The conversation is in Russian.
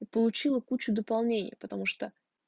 и получила кучу дополнений потому что